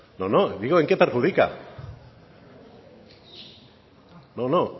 no no digo en qué perjudica no no